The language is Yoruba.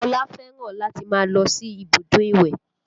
Ọlá fẹ́ràn láti máa lọ sí ibùdó ìwẹ̀